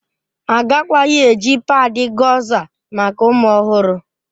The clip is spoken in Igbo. Agakwaghị eji padị Gọza maka ụmụ ọhụrụ